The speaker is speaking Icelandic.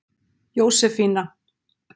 Jósefína